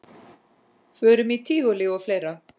Förum í tívolí og fleira.